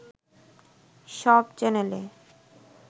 সব চ্যানেলে